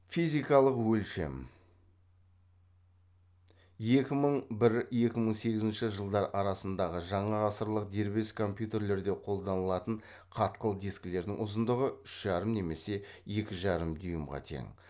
физикалық өлшем екі мың бір екі мың сегізінші жылдар арасындағы жаңа ғасырлық дербес компьютерлерде қолданылатын қатқыл дискілердің ұзындығы үш жарым немесе екі жарым дюймға тең